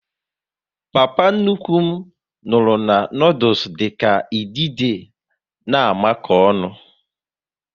Papa nnukwu m nwuru na noodules dịka idide na amako ọnụ